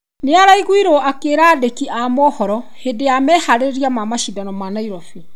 Nĩaraiguirwo akĩra andĩki a mohoro hĩndĩ ya maherĩrĩria ma macindano ma Nairobi.